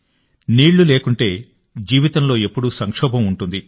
నీళ్లు లేకుంటే జీవితంలో ఎప్పుడూ సంక్షోభం ఉంటుంది